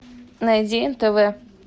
найди нтв